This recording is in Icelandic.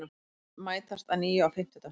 Liðin mætast að nýju á fimmtudag